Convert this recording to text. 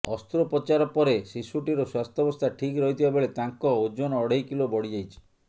ଅସ୍ତ୍ରୋପଚାର ପରେ ଶିଶୁଟିର ସ୍ୱାସ୍ଥ୍ୟବସ୍ଥା ଠିକ ରହିଥିବା ବେଳେ ତାଙ୍କ ଓଜନ ଅଢ଼େଇ କିଲୋ ବଢ଼ିଯାଇଛି